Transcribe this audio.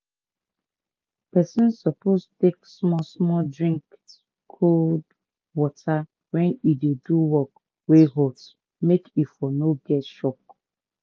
pesin suppose take small-small drink cold water wen e dey do work wey hot make e for no get shock